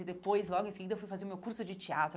E depois, logo em seguida, eu fui fazer o meu curso de teatro.